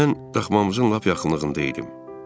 Mən daхmamızın lap yaxınlığında idim.